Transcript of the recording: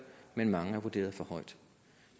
men mange er vurderet for højt